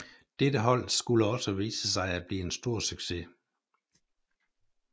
Dette hold skulle også vise sig at blive en stor succes